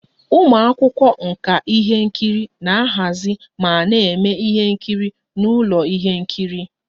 Ụmụ akwụkwọ nka ihe nkiri na-ahazi ma na-eme ihe nkiri n'ụlọ ihe nkiri